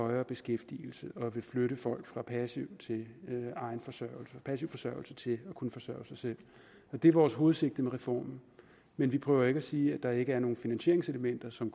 højere beskæftigelse og flytte folk fra passiv forsørgelse til at kunne forsørge sig selv det er vores hovedsigte med reformen men vi prøver ikke at sige at der ikke er nogen finansieringselementer som